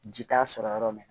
Ji t'a sɔrɔ yɔrɔ min